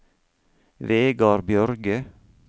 Vegar Bjørge